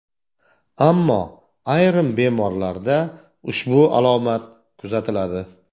Ammo ayrim bemorlarda ushbu alomat kuzatiladi.